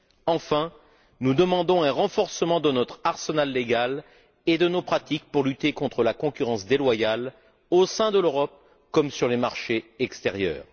Enfin, nous demandons un renforcement de notre arsenal légal et de nos pratiques pour lutter contre la concurrence déloyale au sein de l'Europe comme sur les marchés extérieurs.